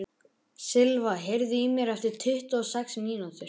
Silva, heyrðu í mér eftir tuttugu og sex mínútur.